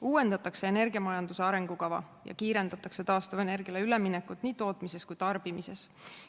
Uuendatakse energiamajanduse arengukava ja kiirendatakse taastuvenergiale üleminekut nii tootmises kui tarbimises.